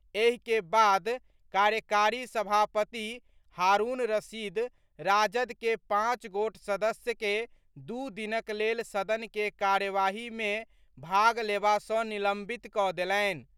एहि के बाद कार्यकारी सभापति हारूण रशीद राजद के पांच गोट सदस्य के दू दिनक लेल सदन के कार्यवाही मे भाग लेबा सँ निलंबित कऽ देलनि।